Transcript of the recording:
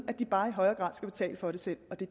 at de bare i højere grad skal betale for det selv og det